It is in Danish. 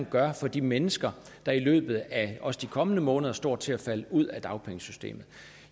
gør for de mennesker der i løbet af også de kommende måneder står til at falde ud af dagpengesystemet